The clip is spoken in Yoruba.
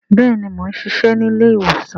Bẹẹni, Mo n ṣiṣẹ ni ilé-ìwòsàn